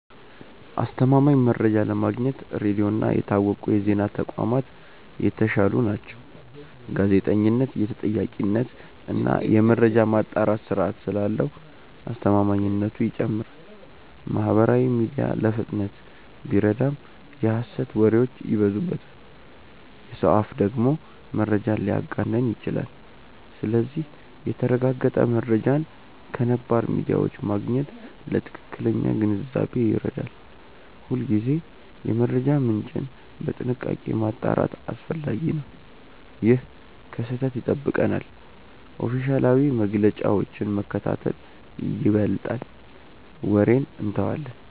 አስተማማኝ መረጃ ለማግኘት ሬዲዮ እና የታወቁ የዜና ተቋማት የተሻሉ ናቸው። ጋዜጠኝነት የተጠያቂነት እና የመረጃ ማጣራት ስርዓት ስላለው አስተማማኝነቱ ይጨምራል። ማህበራዊ ሚዲያ ለፍጥነት ቢረዳም የሐሰት ወሬዎች ይበዙበታል። የሰው አፍ ደግሞ መረጃን ሊያጋንን ይችላል። ስለዚህ የተረጋገጠ መረጃን ከነባር ሚዲያዎች ማግኘት ለትክክለኛ ግንዛቤ ይረዳል። ሁልጊዜ የመረጃ ምንጭን በጥንቃቄ ማጣራት አስፈላጊ ነው። ይህ ከስህተት ይጠብቀናል። ኦፊሴላዊ መግለጫዎችን መከታተል ይበልጣል ወሬን እንተዋለን።